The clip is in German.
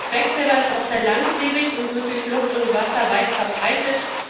Quecksilber ist auch sehr langlebig und wird durch die Luft und Wasser weit verbreitet.